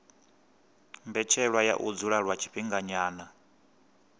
mbetshelwa ya u dzula lwa tshifhinganyana